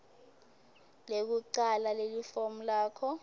lekucala lelifomu lakho